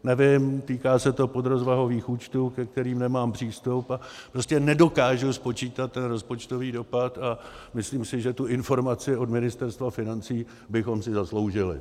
Nevím, týká se to podrozvahových účtů, ke kterým nemám přístup, ale prostě nedokážu spočítat ten rozpočtový dopad a myslím si, že tu informaci od Ministerstva financí bychom si zasloužili.